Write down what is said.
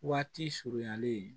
Waati surunin